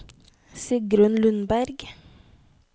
Sigrunn Lundberg